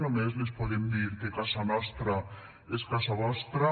només els podem dir que casa nostra és casa vostra